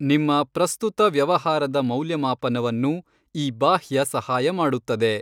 ನಿಮ್ಮ ಪ್ರಸ್ತುತ ವ್ಯವಹಾರದ ಮೌಲ್ಯಮಾಪನವನ್ನು ಈ ಬಾಹ್ಯ ಸಹಾಯ ಮಾಡುತ್ತದೆ.